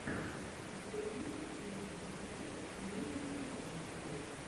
у тебя есть первый эпизод прилива каэс гоу